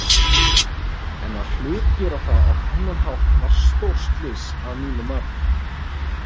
En að hlutgera það á þennan hátt var stórslys að mínu mati.